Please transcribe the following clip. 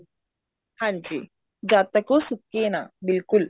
ਹਾਂਜੀ ਜਦ ਤੱਕ ਉਹ ਸੁੱਕੇ ਨਾ ਬਿਲਕੁਲ